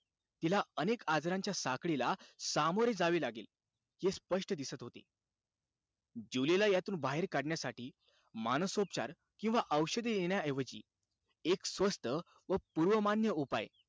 तिला अनेक आजारांच्या साखळीला सामोरे जावे लागेल, हे स्पष्ट दिसत होते. जुलीला यातून बाहेर काढण्यासाठी, मानसोपचार किंवा औषधी देण्याऐवजी एक स्वस्थ व पूर्वमान्य उपाय,